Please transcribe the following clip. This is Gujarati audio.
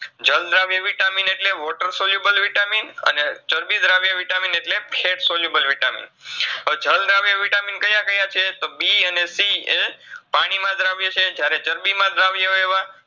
જલદ્રાવ્ય Vitamin એટલે Water soluble Vitamin અને ચરબીદ્રાવ્ય Vitamin એટલે Water soluble Vitamin હવે જલદ્રાવ્ય Vitamin કયા કયા છે તો બી અને સીએ પાણી માં દ્રાવ્ય છે જ્યારે ચરબીમાં દ્રાવ્ય ઓયએવા